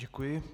Děkuji.